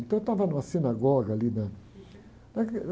Então, eu estava numa sinagoga ali, na, naquele...